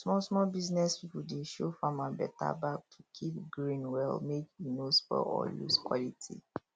smallsmall business pipo dey show farmer better bag to keep grain well mek e no spoil or lose quality